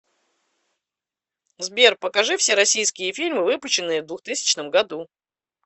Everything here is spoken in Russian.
сбер покажи все российские фильмы выпущенные в двухтысячном году